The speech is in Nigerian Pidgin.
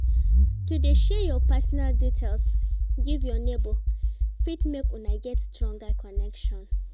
To de share your personal details give your neighbor fit make Una get stronger connection